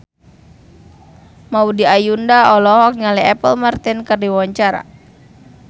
Maudy Ayunda olohok ningali Apple Martin keur diwawancara